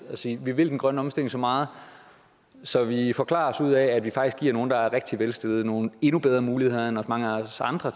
kan sige vi vil den grønne omstilling så meget så vi forklarer os ud af at vi faktisk giver nogle der er rigtig velstillede nogle endnu bedre muligheder end mange af os andre